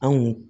An kun